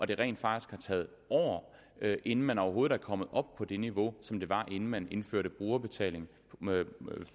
det rent faktisk har taget år inden man overhovedet er kommet op på det niveau som der var inden man indførte brugerbetaling